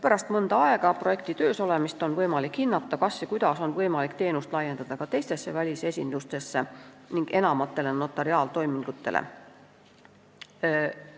Pärast seda, kui projekt on mõnda aega töös olnud, on võimalik hinnata, kas ja kuidas on võimalik teenust ka teistesse välisesindustesse ning enamatele notariaaltoimingutele laiendada.